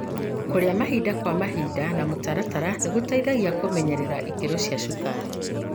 Kũrĩa mahinda kwa mahinda na mũtaratara nĩgũteithagia kũmenyerera ikĩro cia cukari.